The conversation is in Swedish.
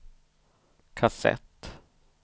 kassett